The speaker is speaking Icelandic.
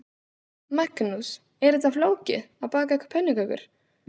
Magnús: Er þetta flókið, að baka pönnukökur?